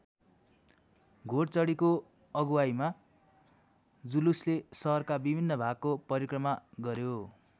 घोडचढीको अगुवाइमा जुलुसले सहरका विभिन्न भागको परिक्रमा गर्‍यो।